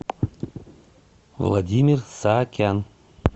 владимир саакян